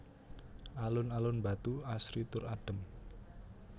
Alun alun Batu asri tur adem